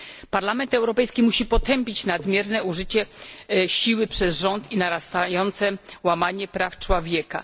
Parlament Europejski musi potępić nadmierne użycie siły przez rząd i narastające łamanie praw człowieka.